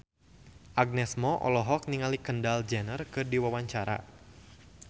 Agnes Mo olohok ningali Kendall Jenner keur diwawancara